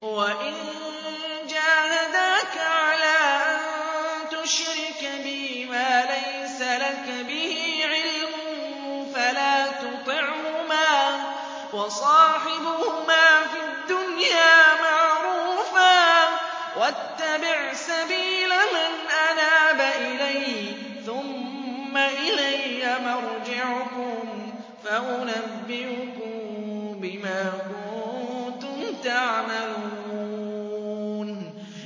وَإِن جَاهَدَاكَ عَلَىٰ أَن تُشْرِكَ بِي مَا لَيْسَ لَكَ بِهِ عِلْمٌ فَلَا تُطِعْهُمَا ۖ وَصَاحِبْهُمَا فِي الدُّنْيَا مَعْرُوفًا ۖ وَاتَّبِعْ سَبِيلَ مَنْ أَنَابَ إِلَيَّ ۚ ثُمَّ إِلَيَّ مَرْجِعُكُمْ فَأُنَبِّئُكُم بِمَا كُنتُمْ تَعْمَلُونَ